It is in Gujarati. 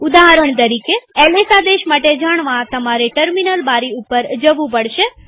ઉદાહરણ તરીકેls આદેશ માટે જાણવાતમારે ટર્મિનલ બારી ઉપર જવું પડશે